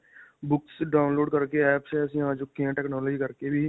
books download ਕਰਕੇ apps ਐਸੀਆਂ ਆ ਚੁੱਕੀ technology ਕਰਕੇ ਵੀ.